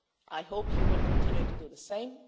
I hope you will continue to do the same.